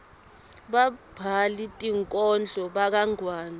babhali tinkhondlo bakangwane